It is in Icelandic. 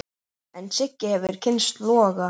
En Siggi hefur kynnst loga.